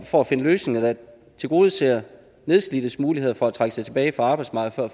for at finde løsninger der tilgodeser nedslidtes muligheder for at trække sig tilbage fra arbejdsmarkedet